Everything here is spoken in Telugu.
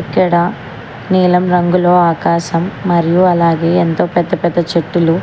ఇక్కడ నీలం రంగులో ఆకాశం మరియు అలాగే ఎంతో పెద్ద పెద్ద చెట్టులు